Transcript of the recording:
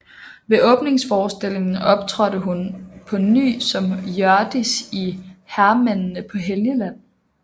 Ved åbningsforestillingen optrådte hun på ny som Hjørdis i Hærmændene paa Helgeland